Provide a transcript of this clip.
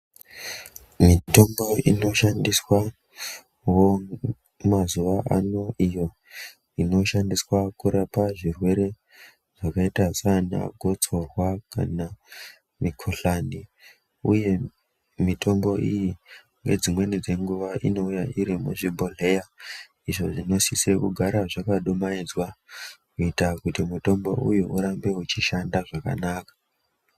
Mitombo inoshandiswawo mazuva ano iyo inoshandiswa kurapa zvirwere zvakaita sana gotsorwa kana mikuhlani uye mitombo iyi nedzimweni dzenguva inouya iri muzvibhodhlera izvo zvinosise kugara zvakadumaidzwa kuitira kuti mutombo uyu urambe uchishanda zvakanaka.